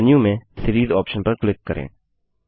menu में series option पर click करें